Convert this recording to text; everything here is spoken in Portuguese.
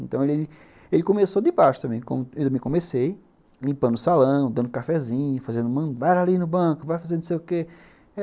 Então ele começou de baixo também, como eu também comecei, limpando o salão, dando cafezinho, fazendo bora ali no banco, vai fazer não sei o que.